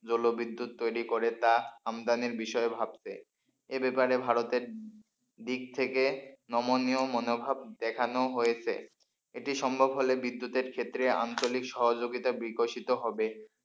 জলবিদ্যুৎ তৈরি করে তা আমদানির বিষয় ভাবছে এ ব্যাপারে ভারতের দিক থেকে নমনীয় মনোভাব দেখানো হয়েছে এটি সম্ভব হলে বিদ্যুতের ক্ষেত্রে আঞ্চলিক সহযোগিতা বিকশিত হবে,